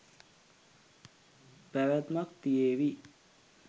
පැවැත්මක් තියේවි.